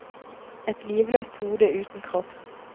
Et livløst hode uten kropp.